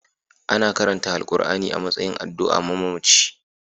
Ana karanta Alkur'ani a matsayin addu'a a mamaci